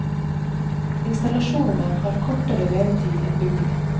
Installasjonene har kortere levetid enn bygningen.